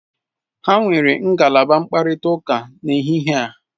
Ha nwere ngalaba mkparịta ụka n'ehihie a.